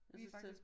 Og så står